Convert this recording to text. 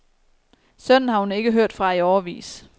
Sønnen har hun ikke hørt fra i årevis.